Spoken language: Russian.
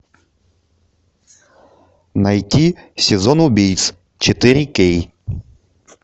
найти сезон убийц четыре кей